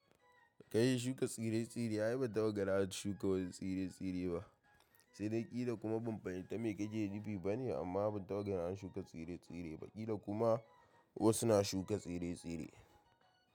Kai shuka tsire-tsire ayi bantaɓa ganin an shuka wasu tsire-tsire ba. Sai dai ƙila kuma ban fahimta me kake nufi bane amma ban tagara an shuka tsire-tsire ba ƙila kuma wasu na shuka tsire-tsire.